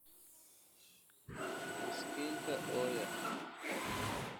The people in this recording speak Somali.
Miskiinka ooya